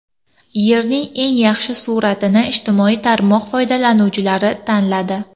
Yerning eng yaxshi suratini ijtimoiy tarmoq foydalanuvchilari tanladi.